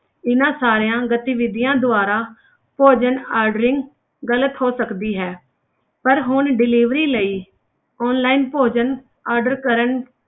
ਇਹਨਾਂ ਸਾਰਿਆਂ ਗਤੀਵਿਧੀਆਂ ਦੁਆਰਾ ਭੋਜਨ ordering ਗ਼ਲਤ ਹੋ ਸਕਦੀ ਹੈ, ਪਰ ਹੁਣ delivery ਲਈ online ਭੋਜਨ order ਕਰਨ,